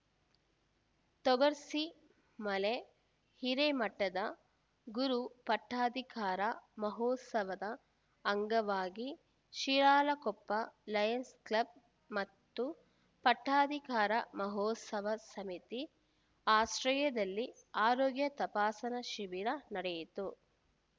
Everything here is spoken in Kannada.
ತೊಗರ್ಸಿ ಮಳೆ ಹಿರೇಮಠದ ಗುರು ಪಟ್ಟಾಧಿಕಾರ ಮಹೋತ್ಸವದ ಅಂಗವಾಗಿ ಶಿರಾಳಕೊಪ್ಪ ಲಯನ್ಸ್‌ ಕ್ಲಬ್‌ ಮತ್ತು ಪಟ್ಟಾಧಿಕಾರ ಮಹೋತ್ಸವ ಸಮಿತಿ ಆಶ್ರಯದಲ್ಲಿ ಆರೋಗ್ಯ ತಪಾಸಣಾ ಶಿಬಿರ ನಡೆಯಿತು